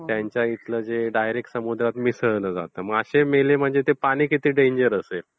त्यांच्याइथल direct समुद्रात मिसळल जातं, मासे मेले म्हणजे ते पाणी किती डेंजर असेल.